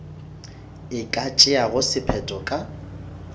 e ka tšeago sephetho ka